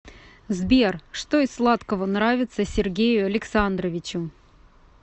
сбер что из сладкого нравится сергею александровичу